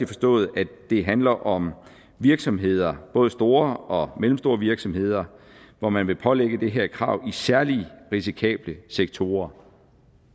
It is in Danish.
forstået at det handler om virksomheder både store og mellemstore virksomheder hvor man vil pålægge det her krav i særlig risikable sektorer